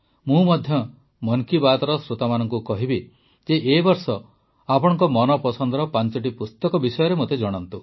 ମୁଁ ମଧ୍ୟ ମନ୍ କୀ ବାତ୍ର ଶ୍ରୋତାମାନଙ୍କୁ କହିବି ଯେ ଏ ବର୍ଷ ଆପଣଙ୍କ ମନପସନ୍ଦର ପାଂଚଟି ପୁସ୍ତକ ବିଷୟରେ ମୋତେ ଜଣାନ୍ତୁ